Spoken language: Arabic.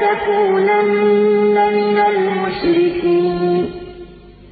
يُطْعِمُ وَلَا يُطْعَمُ ۗ قُلْ إِنِّي أُمِرْتُ أَنْ أَكُونَ أَوَّلَ مَنْ أَسْلَمَ ۖ وَلَا تَكُونَنَّ مِنَ الْمُشْرِكِينَ